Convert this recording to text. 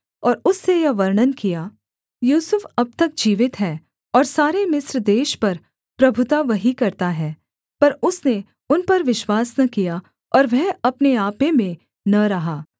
और उससे यह वर्णन किया यूसुफ अब तक जीवित है और सारे मिस्र देश पर प्रभुता वही करता है पर उसने उन पर विश्वास न किया और वह अपने आपे में न रहा